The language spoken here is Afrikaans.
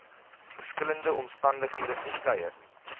verskillende omstandighede verskeie